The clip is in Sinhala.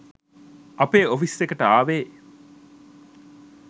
අපේ ඔෆිස් එකට ආවෙ.